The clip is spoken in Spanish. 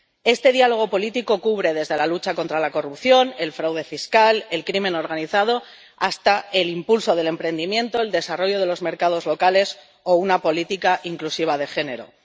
Este diálogo político cubre desde la lucha contra la corrupción, el fraude fiscal, el crimen organizado, hasta el impulso del emprendimiento, el desarrollo de los mercados locales o una política inclusiva de género.